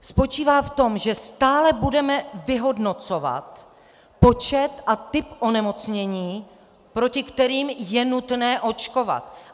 Spočívá v tom, že stále budeme vyhodnocovat počet a typ onemocnění, proti kterým je nutné očkovat.